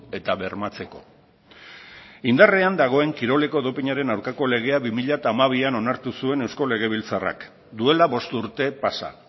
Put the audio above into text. eta bermatzeko indarrean dagoen dopinaren aurkako legea bi mila hamabian onartu zuen eusko legebiltzarrak duela bost urte pasa